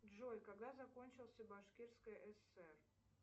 джой когда закончился башкирская асср